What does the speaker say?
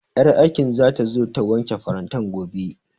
Ƴar aikin zata zo ta wanke farantan gobe